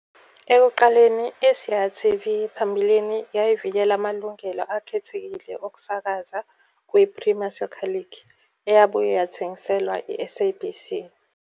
Ekuqaleni, iSiyaya TV phambilini yayivikela amalungelo akhethekile okusakaza kwiPremier Soccer League, eyabuye yathengiselwa iSABC.